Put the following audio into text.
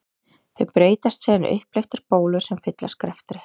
Þau breytast síðan í upphleyptar bólur sem fyllast greftri.